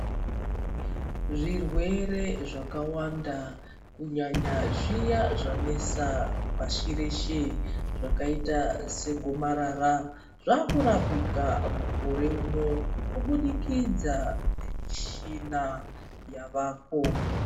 Zvirwere zvakawanda kunyanya zviya zvanetsa pashi reshe zvakaita segomarara zvaakurapika mukore uno kubudikidza nemishina yavapo.